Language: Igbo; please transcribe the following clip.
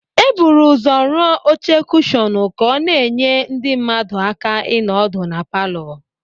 E buru ụzọ rụọ oche kushọnụ ka ọ na-enye ndị mmadụ aka ịnọ ọdụ na palọ.